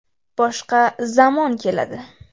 Boshqa zamon keladi.